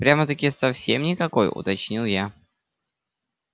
прямо-таки совсем никакой уточнил я